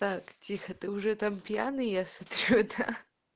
так тихо ты уже там пьяный я смотрю это